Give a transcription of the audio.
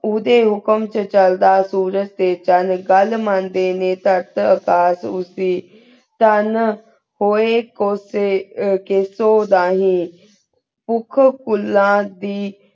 ਉਧਯ ਹੁਕਮ ਟੀ ਚਲਦਾ ਸੂਰਜ ਟੀ ਚੰਦ ਘਾਲ ਮੈਨ੍ਦ੍ਯਨ ਨਯ ਥ੍ਖਤ ਏਹਸਾਸ ਉਸੀ ਚਾਨ ਹੂਯ ਕੁਸੀ ਕਿਸੁ ਧਾਹੀ ਉਖੁਨ ਫੁਲਾਂ ਦੀ